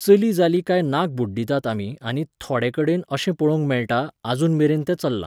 चली जाली काय नाक बुड्डिटात आमी आनी थोडेकडेन अशें पळोवंक मेळटा, अजून मेरेन तें चललां